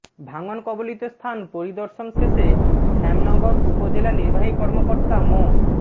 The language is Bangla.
ভাঙন কবলিত স্থান পরিদর্শন শেষে শ্যামনগর উপজেলা নির্বাহী কর্মাকর্তা মো